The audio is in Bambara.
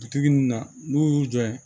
Bitigi ninnu na n'u y'u jɔ yen